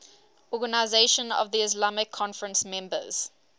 organisation of the islamic conference members